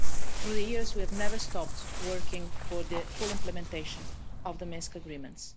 Through the years, we have never stopped working for the full implementation of the Minsk agreements.